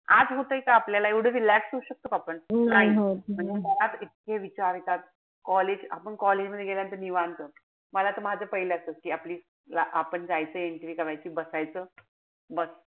आज होतय का आपल्याला एव्हडं relax होऊ शकतो का आपण. नाई मनात इतके विचार येतात. College आपण college मध्ये गेल्यानंतर निवांत. मला त माझं पाहिलं असायचं कि आपली आपण जायचं entry करायची. बसायचं. बस.